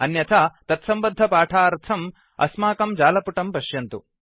अन्यथा तत्सम्बद्ध पाठार्थम् अस्माकं जालपुटं पश्यन्तु